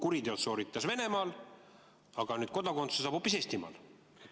Kuriteod sooritas ta Venemaal, aga kodakondsuse saab hoopis Eestimaal.